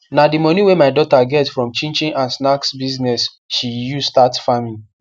na de moni wey my daughter get from chin chin and snacks business she use start farming